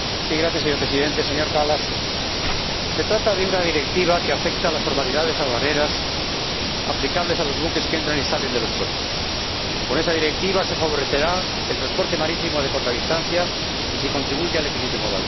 Señor Presidente, señor Kallas, se trata de una Directiva que afecta a las formalidades aduaneras aplicables a los buques que entran y salen de los puertos y con la que se favorecerá el transporte marítimo de corta distancia y se contribuirá al equilibrio modal.